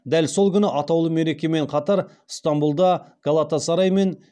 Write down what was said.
дәл сол күні атаулы мерекемен қатар ыстанбұлда галатасарай мен